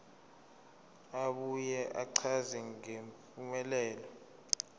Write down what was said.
abuye achaze ngempumelelo